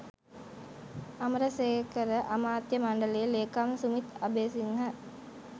අමරසේකර අමාත්‍ය මණ්ඩල ලේකම් සුමිත් අබේසිංහ